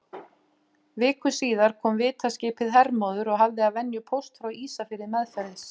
Viku síðar kom vitaskipið Hermóður og hafði að venju póst frá Ísafirði meðferðis.